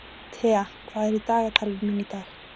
Thea, hvað er í dagatalinu mínu í dag?